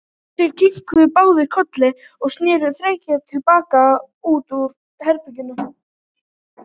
Þeir kinkuðu báðir kolli og sneru þegjandi til baka út úr herberginu.